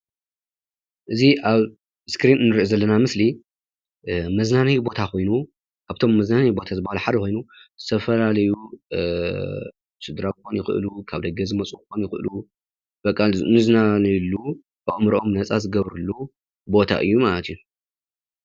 እዚ ኣብ እስክሪን እንሪኦ ዘለና ምስሊ መዝናነይ ቦታ ኮይኑ ካብቶም መዝናነይ ቦታ ሓደ ዝኮኑ ዝተፈላለዩ ስድራ ክኮኑ ይክእሉ፤ ካብ ደገ ዝመፁ ክኮኑ ይክእሉ በቃ ዝዝናነይሉ ኣእምርኦም ነፃ ዝገብርሉ ቦታ እዩ ማለት እዩ፡፡